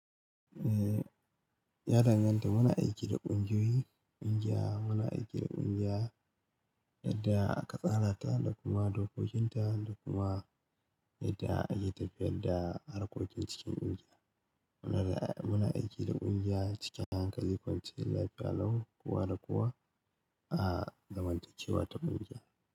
Eh, ya danganta. Muna aiki da ƙungiyoyi, ƙungiya, muna aiki da ƙungiya, yadda aka tsara ta da kuma dokokinta, da kuma yadda ake tafiyar da harkokin cikin ƙungiya. Muna, muna aiki da ƙungiya cikin hanykali ƙwance, lafiya lau, kowa da kowa, a zamantakewa ta ƙungiya.